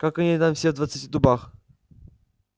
как они там все в двадцати дубах